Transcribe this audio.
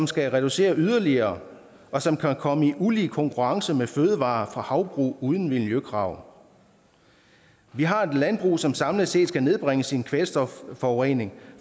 skal reducere yderligere og som kan komme i ulige konkurrence med fødevarer fra havbrug uden miljøkrav vi har et landbrug som samlet set skal nedbringe sin kvælstofforurening